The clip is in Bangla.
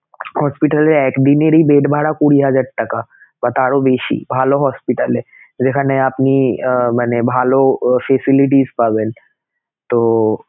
hospital এ এক দিনেরই bed ভাড়া কুঁড়ি হাজার টাকা বা তারও বেশি ভালো hospital এযেখানে আপনি মানে ভালো facilities পাবেনতো